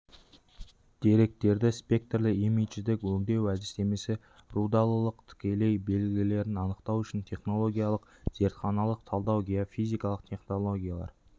деректерді спектрлі имидждік өңдеу әдістемесі рудалылықтың тікелей белгілерін анықтау үшін технологиялық зертханалық талдау геофизикалық технологиялар